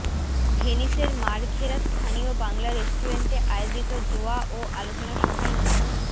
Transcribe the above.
ভেনিসের Marghera স্থানীয় বাংলা রেস্টুরেন্টে আয়োজিত দোয়া ও আলোচনাসভায় নতুন